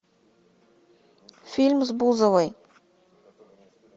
фильм с бузовой